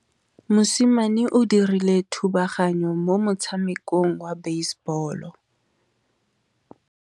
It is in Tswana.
Mosimane o dirile thubaganyô mo motshamekong wa basebôlô.